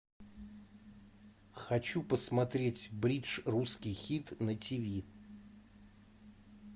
хочу посмотреть бридж русский хит на тв